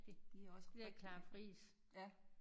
De er også rigtig ja